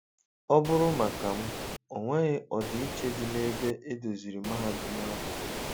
Ọ bụrụ maka m,ọ nweghi ọdịiche di na ebe edoziri mahadum ahụ.